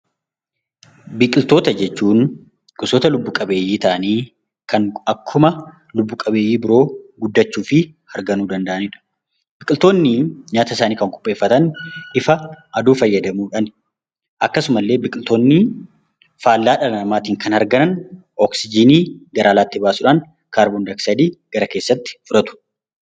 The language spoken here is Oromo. Biqiltoota jechuun gosoota lubbu qabeeyyii ta'anii kan akkuma lubbu qabeeyyii biroo guddachuu fi harganuu danda'ani dha. Biqiltoonni nyaata isaanii kan qopheeffatan ifa aduu fayyadamuu dhaani. Akkasumallee biqiltoonni faallaa dhala namaatiin kan harganan oksijiinii gara alaatti baasuudhaan, kaarboon dayoksaayidii gara keessaatti fudhatu.